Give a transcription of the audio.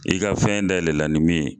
I ka fɛn dayɛlɛ la nin min ye.